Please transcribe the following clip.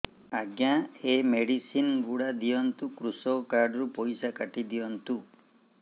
ଆଜ୍ଞା ଏ ମେଡିସିନ ଗୁଡା ଦିଅନ୍ତୁ କୃଷକ କାର୍ଡ ରୁ ପଇସା କାଟିଦିଅନ୍ତୁ